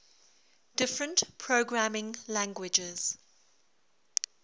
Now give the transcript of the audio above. different programming languages